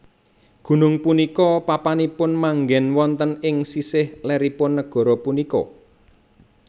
Gunung punika papanipun manggèn wonten ing sisih lèripun negara punika